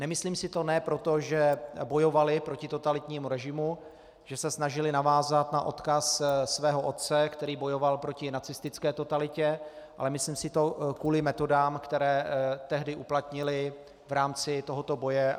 Nemyslím si to ne proto, že bojovali proti totalitnímu režimu, že se snažili navázat na odkaz svého otce, který bojoval proti nacistické totalitě, ale myslím si to kvůli metodám, které tehdy uplatnili v rámci tohoto boje.